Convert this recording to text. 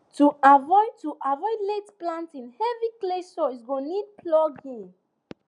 to avoid to avoid late planting heavy clay sois go need ploughing